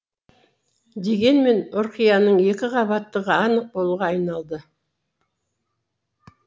дегенмен ұрқияның екі қабаттығы анық болуға айналды